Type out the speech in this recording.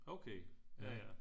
Okay ja ja